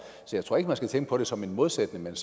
så jeg tror ikke man skal tænke på det som en modsætning men